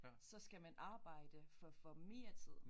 Så skal man arbejde for at få mere tid